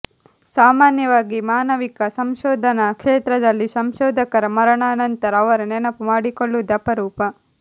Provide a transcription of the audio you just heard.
ಸಾಮಾನ್ಯವಾಗಿ ಮಾನವಿಕ ಸಂಶೋಧನ ಕ್ಷೇತ್ರದಲ್ಲಿ ಸಂಶೋಧಕರ ಮರಣಾನಂತರ ಅವರ ನೆನಪು ಮಾಡಿಕೊಳ್ಳುವುದೇ ಅಪರೂಪ